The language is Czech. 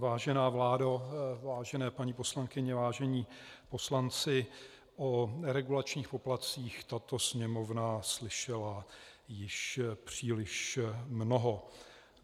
Vážená vládo, vážené paní poslankyně, vážení poslanci, o regulačních poplatcích tato Sněmovna slyšela již příliš mnoho.